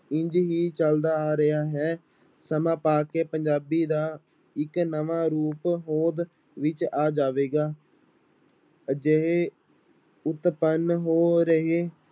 ਇੰਞ ਹੀ ਚੱਲਦਾ ਆ ਰਿਹਾ ਹੈ ਸਮਾਂ ਪਾ ਕੇ ਪੰਜਾਬੀ ਦਾ ਇੱਕ ਨਵਾਂ ਰੂਪ ਹੋਂਦ ਵਿੱਚ ਆ ਜਾਵੇਗਾ ਅਜਿਹੇ ਉਤਪੰਨ ਹੋ ਰਹੇ